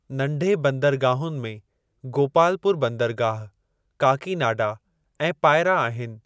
नंढे बंदरगाहुनि में गोपालपुर बंदरगाह, काकीनाडा ऐं पायरा आहिनि।